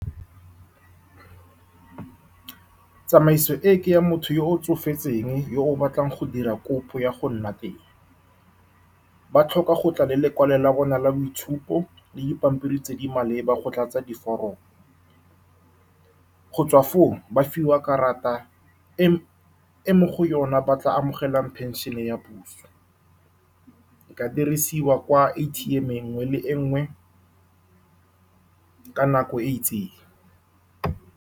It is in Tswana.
Tsamaiso e ke ya motho yo o tsofetseng yo o batlang go dira kopo ya go nna teng, ba tlhoka gotla le lekwalo la bona la boitshupo le dipampiri tse di maleba go tlatsa di foromong. Go tswa foo, ba fiwa karata e e mo go yone ba tla amogelang phenšhene ya puso e ka dirisiwa kwa A_T_M e nngwe le e nngwe ka nako e itseng.